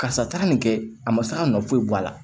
Karisa taara nin kɛ a ma se ka nɔ foyi bɔ a la